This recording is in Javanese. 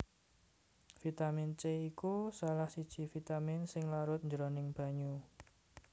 Vitamin C iku salah siji vitamin sing larut jroning banyu